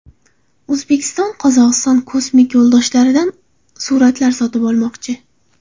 O‘zbekiston Qozog‘iston kosmik yo‘ldoshlaridan suratlar sotib olmoqchi.